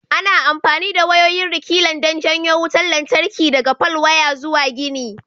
Ana amfani da wayoyin rekilan don janyo wutar lantarki daga falwaya zuwa gini.